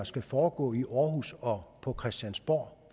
skal foregå i aarhus og på christiansborg